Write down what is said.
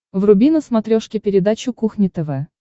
вруби на смотрешке передачу кухня тв